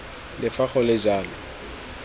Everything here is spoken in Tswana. le fa go le jalo